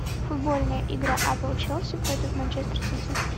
футбольная игра апл челси против манчестер сити